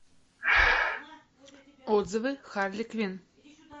отзывы харли квин